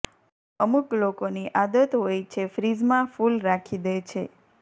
અમુક લોકોની આદત હોય છે ફ્રીઝમાં ફૂલ રાખી દે છે